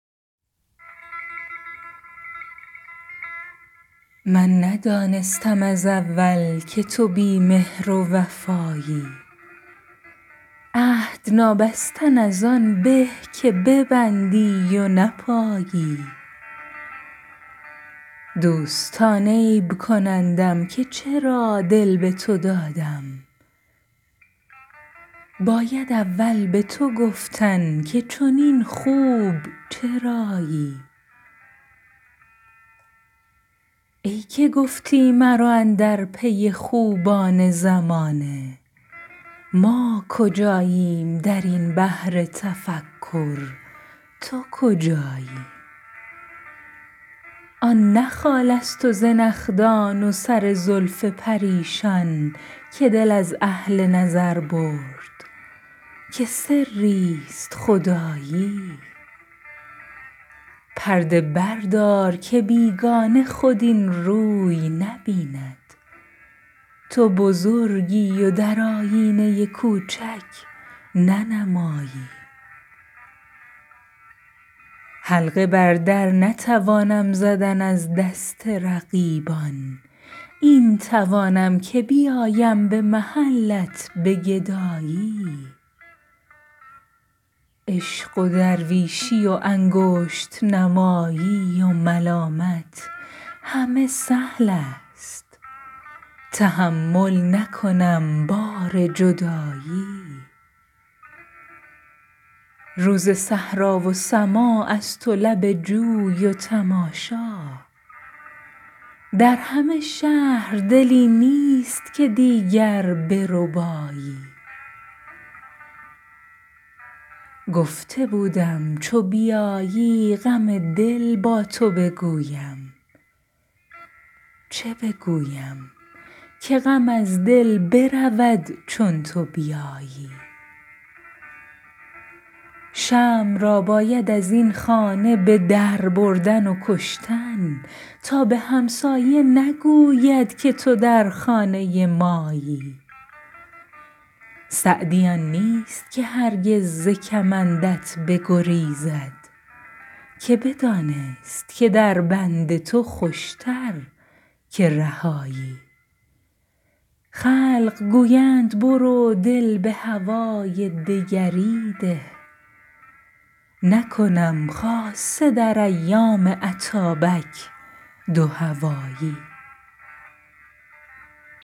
من ندانستم از اول که تو بی مهر و وفایی عهد نابستن از آن به که ببندی و نپایی دوستان عیب کنندم که چرا دل به تو دادم باید اول به تو گفتن که چنین خوب چرایی ای که گفتی مرو اندر پی خوبان زمانه ما کجاییم در این بحر تفکر تو کجایی آن نه خالست و زنخدان و سر زلف پریشان که دل اهل نظر برد که سریست خدایی پرده بردار که بیگانه خود این روی نبیند تو بزرگی و در آیینه کوچک ننمایی حلقه بر در نتوانم زدن از دست رقیبان این توانم که بیایم به محلت به گدایی عشق و درویشی و انگشت نمایی و ملامت همه سهلست تحمل نکنم بار جدایی روز صحرا و سماعست و لب جوی و تماشا در همه شهر دلی نیست که دیگر بربایی گفته بودم چو بیایی غم دل با تو بگویم چه بگویم که غم از دل برود چون تو بیایی شمع را باید از این خانه به در بردن و کشتن تا به همسایه نگوید که تو در خانه مایی سعدی آن نیست که هرگز ز کمندت بگریزد که بدانست که در بند تو خوشتر که رهایی خلق گویند برو دل به هوای دگری ده نکنم خاصه در ایام اتابک دوهوایی